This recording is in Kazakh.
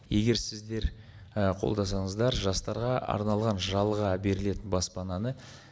егер сіздер қолдасаңыздар жастарға арналған жалға берілетін баспананы